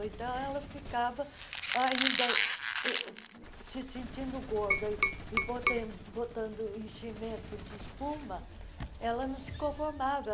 Então, ela ficava ainda uh se sentindo gorda e botando enchimento de espuma, ela não se conformava.